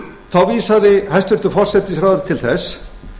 þá vísaði hæstvirtur forsætisráðherra til þess